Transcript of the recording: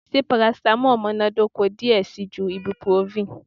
Ṣe paracetamol munadoko diẹ sii ju ibuprofen?